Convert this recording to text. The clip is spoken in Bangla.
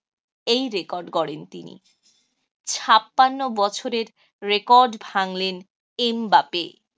এই record গড়েন তিনি। ছাপান্ন বছরের record ভাঙলেন এমবাপে।